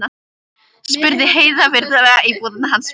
spurði Heiða virðulega í búðinni hans Manna, og